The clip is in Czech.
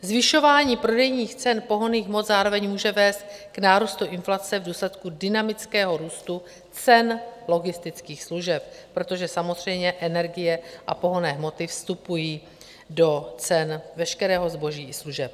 Zvyšování prodejních cen pohonných hmot zároveň může vést k nárůstu inflace v důsledku dynamického růstu cen logistických služeb, protože samozřejmě energie a pohonné hmoty vstupují do cen veškerého zboží a služeb.